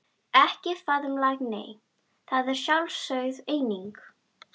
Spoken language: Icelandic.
Ekki faðmlag nei, það er sjálfsögð eining.